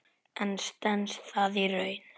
En stenst það í raun?